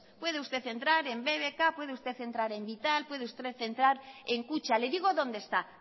puede usted entrar en bbk puede usted entrar en vital puede usted entrar en kutxa le digo dónde está